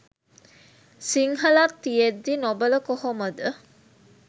සිංහලත් තියෙද්දි නොබල කොහොමද